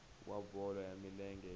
wa bolo ya milenge hi